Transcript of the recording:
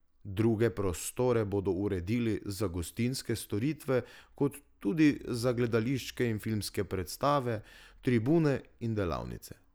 Druge prostore bodo uredili za gostinske storitve kot tudi za gledališke in filmske predstave, tribune in delavnice.